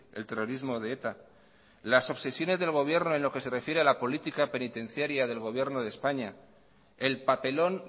el terrorismo de eta las obsesiones del gobierno en lo que se refiere a la política penitenciaria del gobierno de españa el papelón